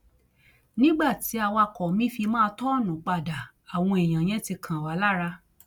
nígbà tí awakọ mi fi máa tọọnù padà àwọn èèyàn yẹn ti kan wá lára